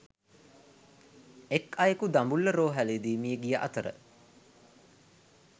එක් අයකු දඹුල්ල රෝහ‍ලේදී මිය ගිය අතර